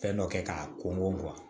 Fɛn dɔ kɛ k'a kɔngɔ bɔn